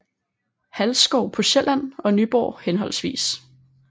Halsskov på Sjælland og Nyborg hhv